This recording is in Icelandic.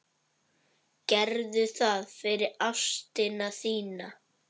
Gerðu það fyrir ástina þína.